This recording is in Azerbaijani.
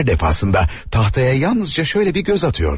Hər dəfə taxtaya sadəcə belə bir nəzər salırdı.